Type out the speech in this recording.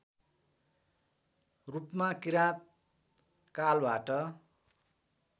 रूपमा किराँत कालबाट